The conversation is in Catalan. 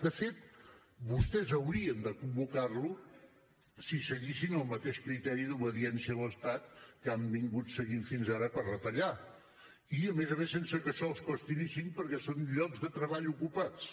de fet vostès haurien de convocar les si seguissin el mateix criteri d’obediència a l’estat que han seguit fins ara per retallar i a més a més sense que això els costi ni cinc perquè són llocs de treball ocupats